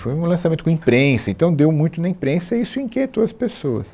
Foi um lançamento com imprensa, então deu muito na imprensa e isso inquietou as pessoas.